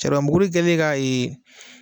Saribɔbukuri kɛlen ka ee